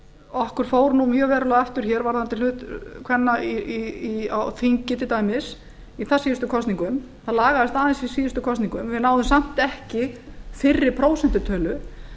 okkur fór nú mjög verulega aftur hér varðandi hlut kvenna á þingi í þarsíðustu kosningum það lagaðist aðeins í síðustu kosningum við náðum samt ekki fyrri prósentutölu